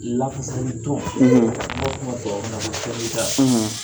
Lafasali tɔn, n'o bɛ ubabukan na ko sɛndika